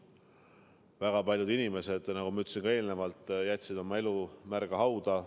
Väga paljud inimesed, nagu ma eelnevalt ütlesin, jätsid oma elu märga hauda.